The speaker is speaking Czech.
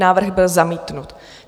Návrh byl zamítnut.